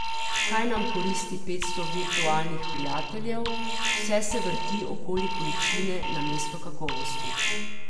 Kaj nam koristi petsto virtualnih prijateljev, vse se vrti okoli količine namesto kakovosti!